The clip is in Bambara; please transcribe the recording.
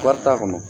Wari t'a kɔnɔ